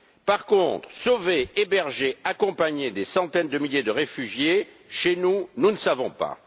Par contre, sauver, héberger, accompagner des centaines de milliers de réfugiés chez nous, nous ne savons pas.